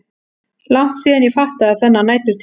Langt síðan ég fattaði þennan næturtíma.